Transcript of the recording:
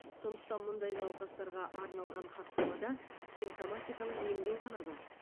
сондықтан мұндай науқастарға арналған хаттамада симптоматикалық емдеу ғана бар